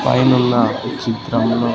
పైనున్న ఈ చిత్రంలో--